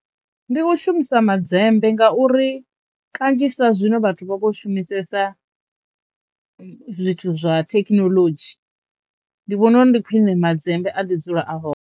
Ndi u shumisa madzembe ngauri kanzhisa zwino vhathu vha vho shumisesa zwithu zwa thekinoḽodzhi. Ndi vhona uri ndi khwine madzembe a ḓi dzula a hone.